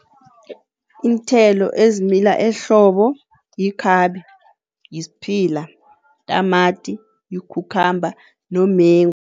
Iinthelo ezimila ehlobo yikhabe, yisphila, tamati, yi-cucumber nomengu.